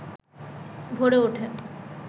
ভরে ওঠে